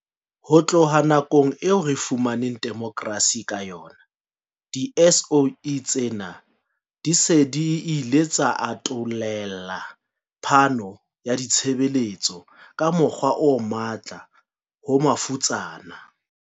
Ho tloha nakong eo re fumaneng demokrasi ka yona, di-SOE tsena di se di ile tsa atollela phano ya ditshebeletso ka mokgwa o matla ho mafutsana.